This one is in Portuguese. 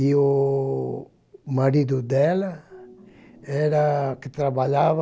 E o marido dela era que trabalhava